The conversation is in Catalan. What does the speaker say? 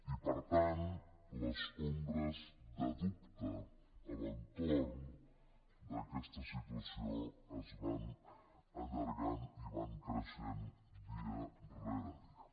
i per tant les ombres de dubte a l’entorn d’aquesta situació es van allargant i van creixent dia rere dia